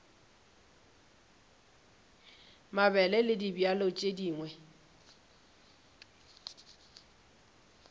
mabele le dibjalo tše dingwe